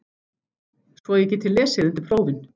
Svo ég geti lesið undir prófin.